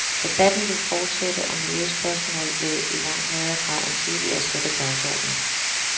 Debatten vil fortsætte, og miljøspørgsmål vil i langt højere grad end tidligere sætte dagsordenen.